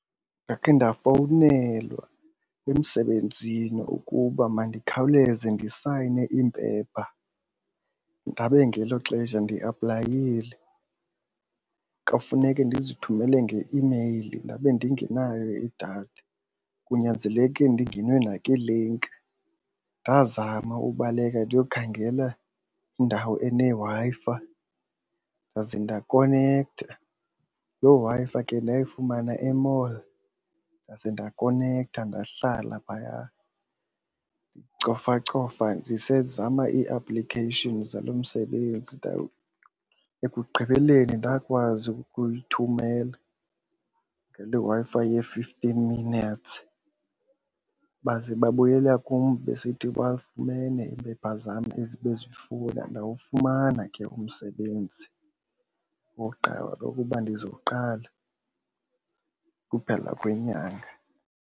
Ndakhe ndafowunelwa emsebenzini ukuba mandikhawulezise ndisayine iimpepha ndabe ngelo xesha ndiaplayile. Kwafuneke ndizithumele ngeimeyili ndabe ndingenayo idatha kunyanzeleke ndingene nakwii-link. Ndazama ubaleka ndiyokhangela indawo eneWi-Fi ndaze ndakonektha. Loo Wi-Fi ke ndayifumana e-mall ndaze ndakonektha ndahlala phaya ndicofacofa ndizama ii-applications zalo msebenzi. Ekugqibeleni ndakwazi ukuyithumela ngaloo Wi-Fi ye-fifteen minutes baze babuyela kum besithi bafumene iimpepha zam ezi bezifuna. Ndawufumana ke umsebenzi wokuba ndizoqala ukuphela kwenyanga.